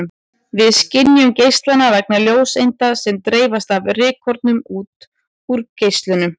Við skynjum geislann vegna ljóseinda sem dreifast af rykkornum út úr geislanum.